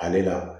Ale la